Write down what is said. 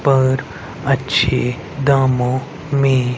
पर अच्छे दामों में--